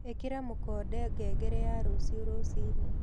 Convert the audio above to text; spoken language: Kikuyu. ĩkĩra mũkonde ngengere ya rũcĩũ rũcĩĩnĩ